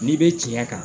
N'i bɛ tiɲɛ kan